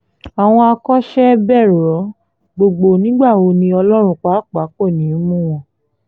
àwọn akọ́ṣẹ́bẹ̀rọ gbogbo nígbà wo ni ọlọ́run pàápàá kò ní í mú wọn